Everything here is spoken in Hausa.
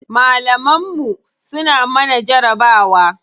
Malaman mu suna mana jarabawa.